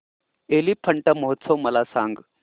एलिफंटा महोत्सव मला सांग